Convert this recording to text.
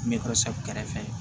kɛrɛfɛ